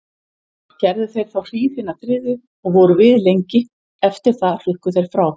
Gerðu þeir þá hríð hina þriðju og voru við lengi, eftir það hrukku þeir frá.